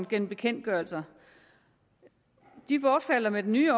gennem bekendtgørelser de bortfalder med den nye